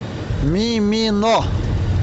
мимино